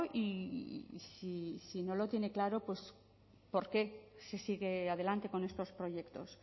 y si no lo tiene claro por qué se sigue adelante con estos proyectos